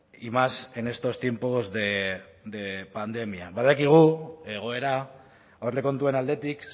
y más en estos tiempos de pandemia badakigu egoera aurrekontuen aldetik